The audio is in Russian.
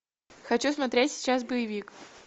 хочу смотреть сейчас боевик